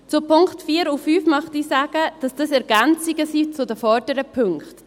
Zu den Punkten 4 und 5 möchte ich sagen, dass dies Ergänzungen sind zu den vorderen Punkten.